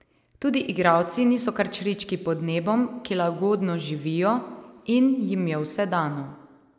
Tudi igralci niso kar črički pod nebom, ki lagodno živijo in jim je vse dano.